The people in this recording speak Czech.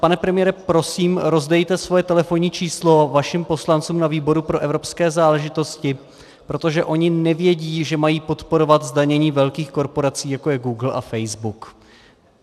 Pane premiére, prosím, rozdejte svoje telefonní číslo vašim poslancům na výboru pro evropské záležitosti, protože oni nevědí, že mají podporovat zdanění velkých korporací, jako je Google a Facebook.